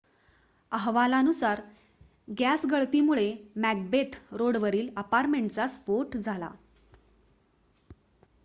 अहवालानुसार गॅस गळतीमुळे मॅकबेथ रोडवरील अपार्टमेंटचा स्फोट झाला